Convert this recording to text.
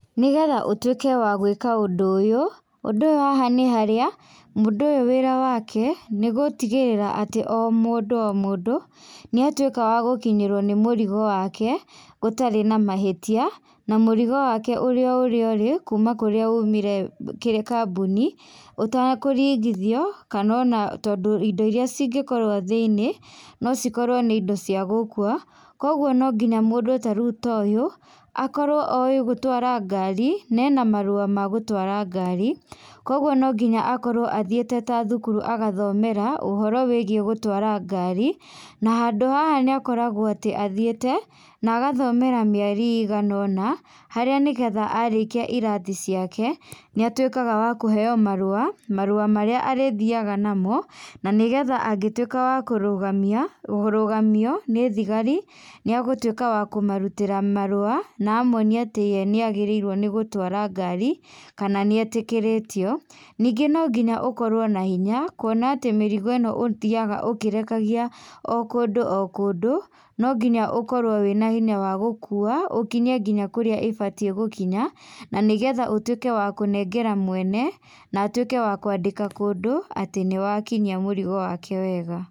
Nĩgetha ũtwĩke wa gwĩka ũndũ ũyũ, ũndũ ũyũ haha nĩ harĩa, mũndũ ũyũ wĩra wake nĩgũtigĩrĩra atĩ o mũndũ o mũndũ, nĩatuĩka wa gũkinyĩrwo nĩ mũrigo wake, gũtarĩ na mahĩtia, na mũrigo wake ũrĩ o ũrĩa ũri kuma kũrĩa umire o kĩ kambũni, ũtakũringithio, kanona tondũ indo iria cingĩkorwo thĩ-inĩ, nocikorwo nĩ indo cia gũkua, koguo nonginya mũndũ ta rĩu toyũ, akorwo oĩ gũtwara ngari, nena marũa ma gũtwara ngari, kwoguo nonginya akorwo athiĩte ta thukuru, agathomera ũhoro wĩgiĩ gũtwara ngari, na handũ haha nĩakoragwo atĩ athiĩte, nagathomera mĩeri iganona, harĩa nĩgetha, arĩkia irathi ciake, nĩatwĩkaga wa kũheo marũa, marũa marĩa arĩthiaga namo, nanĩgetha angĩtwĩka wa kũrũgamia, kũrũgamio, nĩ thigari, nĩagũtwĩka wa kũmarutĩra marũa, na amonie atĩ ye nĩagĩrĩire nĩ gũtwara ngari, kana nĩetĩkĩrĩtio. Ningĩ nonginya ũkorwo na hinya, kuona atĩ mĩrigo ĩno ũthiaga ũkĩrekagia o kũndũ o kũndũ, nonginya ũkorwo wĩna hinya wa gũkua, ũkinyie nginya kũrĩa ĩbatiĩ gũkinya, na nĩgetha ũtwĩke wa kũnengera mwene, na atwĩke wa kũandĩka kũndũ, atĩ nĩwakinyia mũrigo wake wega.